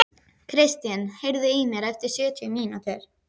Kristin, heyrðu í mér eftir sjötíu mínútur.